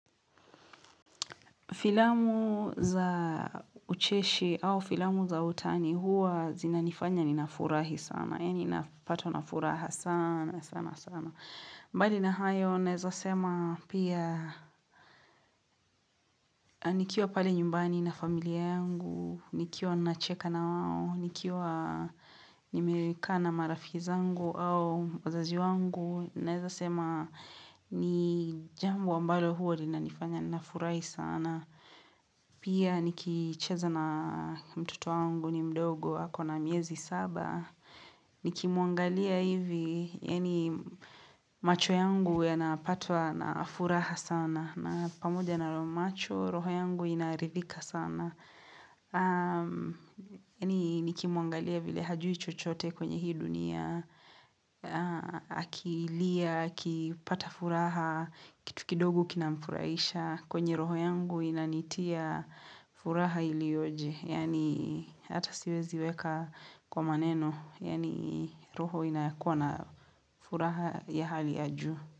Filamu za ucheshi au filamu za utani huwa zinanifanya ninafurahi sana. Yani nafatwa na furaha sana sana sana. Mbali na hayo nawezasema pia nikiwa pale nyumbani na familia yangu. Nikiwa nacheka na wao. Nikiwa nimekaa na marafiki zangu au wazazi wangu. Naweza sema ni jambo ambalo huwa linanifanya nafurahi sana. Pia nikicheza na mtoto wangu ni mdogo ako na miezi saba Nikimwangalia hivi yani macho yangu yanapatwa na furaha sana na pamoja na roho macho roho yangu inaridhika sana yani nikimwangalia vile hajui chochote kwenye hii dunia akilia, akipata furaha Kitu kidogu kinamfurahisha kwenye roho yangu inanitia furaha iliyoje, yani hata siwezi weka kwa maneno, yani roho inakuwa na furaha ya hali ya juu.